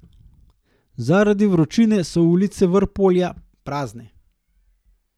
Zaradi vročine so ulice Vrpolja prazne.